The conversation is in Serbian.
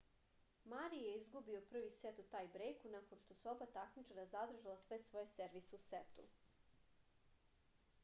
mari je izgubio prvi set u tajbrejku nakon što su oba takmičara zadržala sve svoje servise u setu